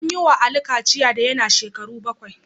An yi wa Ali kachiya da yana shekaru bakwai